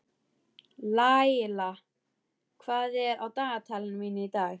Laíla, hvað er á dagatalinu mínu í dag?